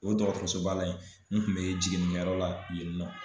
O dɔgɔtɔrɔso ba la yen, min kun bɛ jiginnikɛyɔrɔ la yen nɔ.